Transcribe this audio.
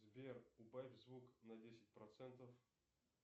сбер убавь звук на десять процентов